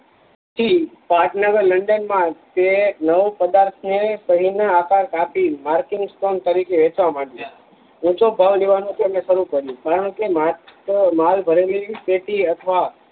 થી લંડન માં તે નવ પદાર્થ ને છરી ના આકાર કાપી ને માર્કિંગ સ્ટોન તરીકે વેચવા માંડીયા ઉચો ભાવ લેવાનો તેમને શરુ કરીયું કારણકે માલ ભરેલી પેટી અથવા